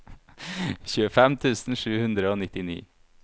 tjuefem tusen sju hundre og nittini